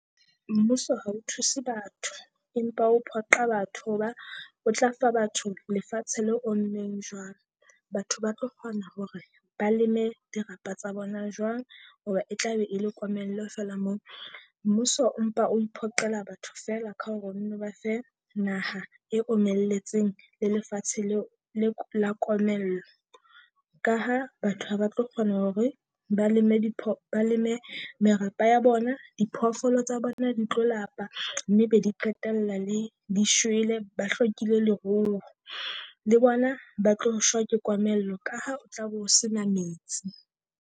Mmuso ha o thuse batho, empa o phoqa batho hoba o tla fa batho lefatshe le ommeng jwalo. Batho ba tlo kgona hore ba leme dirapa tsa bona jwang? Hoba e tla be e le komello feela moo, mmuso o mpa o mphoqela batho feela ka hore o nno ba fe naha e omelletseng le lefatshe leo la komello. Ka ha batho ha ba tlo kgona hore ba leme di ba le merapa ya bona, diphoofolo tsa bona di tlo lapa mme be di qetella le di shwele, ba hlokile leruo. Le bona ba tlo shwa ke komello ka ha o tla bo sena metsi.